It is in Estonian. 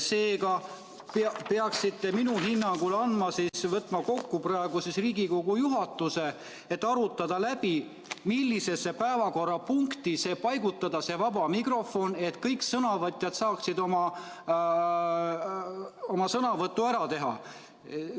Seega peaksite minu hinnangul võtma praegu Riigikogu juhatuse kokku, et arutada läbi, millisesse päevakorrapunkti see vaba mikrofon paigutada, et kõik sõnavõtjad saaksid oma sõnavõtu ära teha.